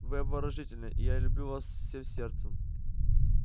вы обворожительны и я люблю вас всем сердцем